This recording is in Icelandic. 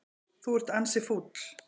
Þú ert ansi fúll.